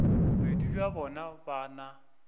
bobedi bja bona ba na